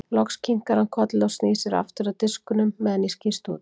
Loks kinkar hann kolli og snýr sér aftur að diskunum meðan ég skýst út.